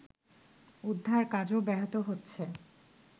উদ্ধার কাজও ব্যাহত হচ্ছে